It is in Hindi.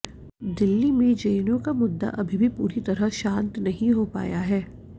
दिल्ली में जेएनयू का मुद्दा अभी भी पूरी तरह शांत नहीं हो पाया है